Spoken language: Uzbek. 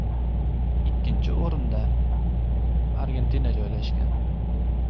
Ikkinchi o‘rinda Argentina joylashgan.